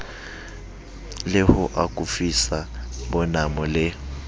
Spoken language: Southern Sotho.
le ho akofisa bonamo le